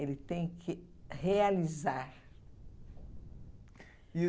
Ele tem que realizar. E